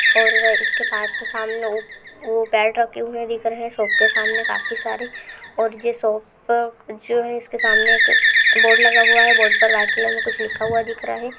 और इसके सामने वो वो बैल्ट रखे हुए दिख रहे हैं शॉप के सामने काफी सारे और ये शॉप जो है इसके सामने एक बोर्ड लगा हुआ है। बोर्ड पर व्हाइट कलर में कुछ लिखा हुआ दिख रहा है।